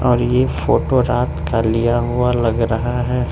और ये फोटो रात का लिया हुआ लग रहा है।